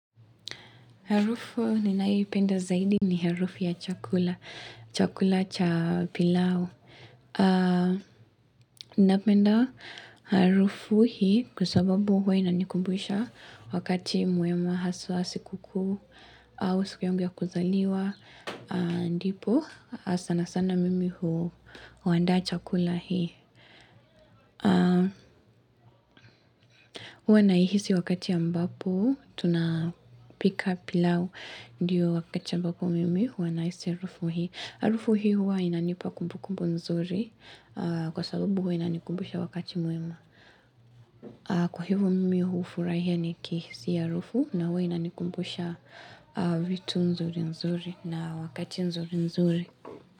Harufu ninayoipenda zaidi ni harufu ya chakula. Chakula cha pilau. Napenda harufu hii kwa sababu huwa inanikumbusha wakati mwema haswa siku kuu au siku yangu ya kuzaliwa. Napenda harufu hii kusababu hui nanikumbuisha wakati muema hasuasi kuku au siku yangu ya kuzaliwa. Huwa naihisi wakati ambapo Tunapika pilau Ndiyo wakati ambapo mimi Huwa nahisi harufu hii harufu hii huwa inanipa kumbukumbu nzuri Kwa sababu huwa inanikumbusha wakati muema Kwa hivo mimi hufurahia nikihisi hii harufu na huwa inanikumbusha vitu nzuri nzuri na wakati nzuri nzuri.